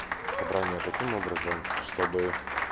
собрание таким образом чтобы